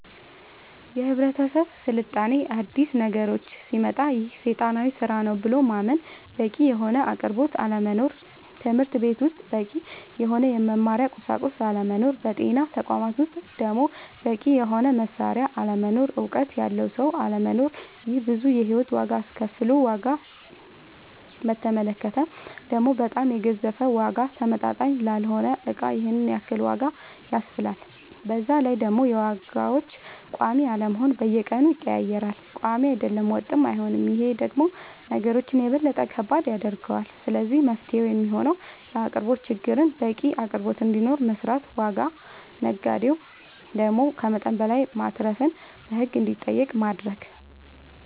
የህብረተሰብ ስልጣኔ አዲስ ነገሮች ሲመጣ ይሄ ሴጣናዊ ስራ ነው ብሎ ማመን በቂ የሆነ አቅርቦት አለመኖር ትምህርትቤት ውስጥ በቂ የሆነ የመማሪያ ቁሳቁስ አለመኖር በጤና ተቋማት ውስጥ ደሞ በቂ የሆነ መሳሪያ አለመኖር እውቀት ያለው ሰው አለመኖር ይሄ ብዙ የሂወት ዋጋ አስከፍሎል ዋጋ በተመለከተ ደሞ በጣም የገዘፈ ዋጋ ተመጣጣኝ ላልሆነ እቃ ይሄንን ያክል ዋጋ ያስብላል በዛላይ ደሞ የዋጋዎች ቆሚ አለመሆን በየቀኑ ይቀያየራል ቆሚ አይደለም ወጥም አይሆንም ይሄ ደሞ ነገሮች የበለጠ ከባድ ያደርገዋል ስለዚህ መፍትሄው የሚሆነው የአቅርቦት ችግርን በቂ አቅርቦት እንዲኖር መስራት ዋጋ ነጋዴው ደሞ ከመጠን በላይ ማትረፍን በህግ እንዲጠየቅ ማረግ